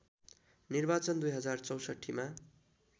निर्वाचन २०६४ मा